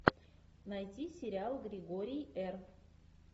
найти сериал григорий р